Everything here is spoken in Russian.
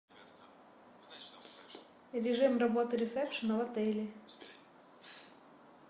режим работы ресепшена в отеле